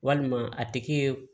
Walima a tigi ye